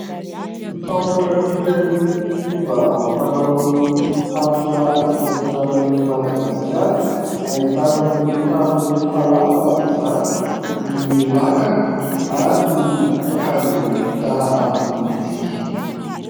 Fampiratiana ny fomba amam-panaon'ny faritra Atsimo-Atsinanan'i Madagasikara ahitana ny trano falafa izany, ny lakana ary ny akanjo vita amin'ny tsihy.